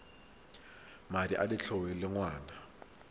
madi a letlole a ngwana